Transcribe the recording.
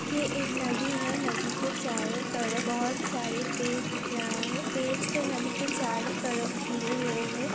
ये एक नदी है। नदी के चारों तरफ बोहोत सारे पेड़ दिख रहा है। पेड़ से नदी के चारों तरफ घिरे हुए हैं।